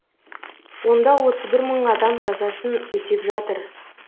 онда отыз бір мың адам жазасын өтеп жатыр